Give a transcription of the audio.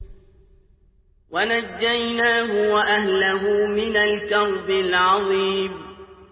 وَنَجَّيْنَاهُ وَأَهْلَهُ مِنَ الْكَرْبِ الْعَظِيمِ